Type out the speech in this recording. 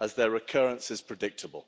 as their occurrence is predictable.